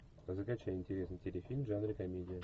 закачай интересный телефильм в жанре комедия